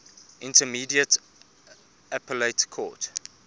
intermediate appellate court